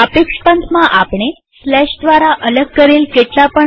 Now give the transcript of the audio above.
સાપેક્ષ પંથમાં આપણે દ્વારા અલગ કરેલ કેટલા પણ